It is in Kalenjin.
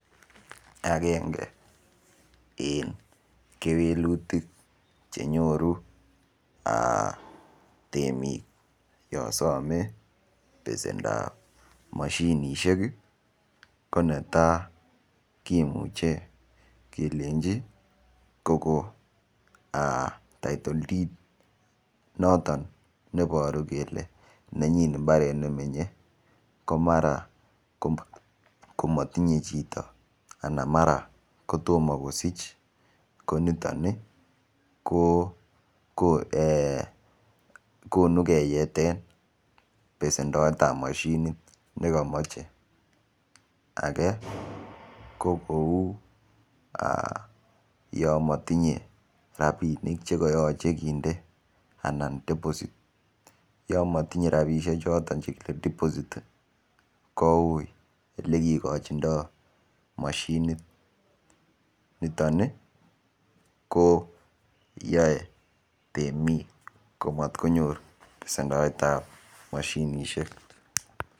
Akenge eng kewelutik chenyoru temik yo some besendap mashinishek ko netai kimuche kelenji kokon title did cs] noton neiboru kole nenyin mbaret nemenye ko mara matinye chito ana mara kotomo kosich koniton ko konu keyeten besendoet ap mashinit nekamache age ko kou yo matinye rapinik chekayache kinde ana deposit yo matinye rapishek choton chekile deposit ko ui olekikochindo mashinit niton ko yoe temik komatkonyor besendoet ap mashinishek.